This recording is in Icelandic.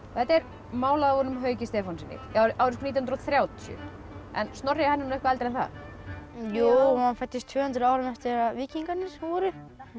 þetta er málað af honum Hauki Stefánssyni árið nítján hundruð og þrjátíu en Snorri er eitthvað eldri en það jú hann fæddist tvö hundruð árum eftir að víkingarnir voru